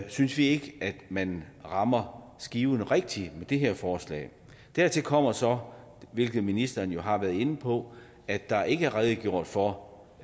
synes vi ikke at man rammer skiven rigtigt med det her forslag dertil kommer så hvilket ministeren jo har været inde på at der ikke er redegjort for